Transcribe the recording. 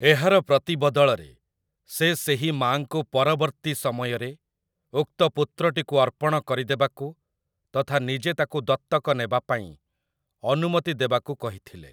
ଏହାର ପ୍ରତିବଦଳରେ, ସେ ସେହି ମାଆଙ୍କୁ ପରବର୍ତ୍ତୀ ସମୟରେ ଉକ୍ତ ପୁତ୍ରଟିକୁ ଅର୍ପଣ କରିଦେବାକୁ ତଥା ନିଜେ ତାକୁ ଦତ୍ତକ ନେବା ପାଇଁ ଅନୁମତି ଦେବାକୁ କହିଥିଲେ ।